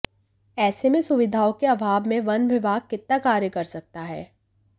ऐसे में सुविधाओं के अभाव में वन विभाग कितना कार्य कर सकता है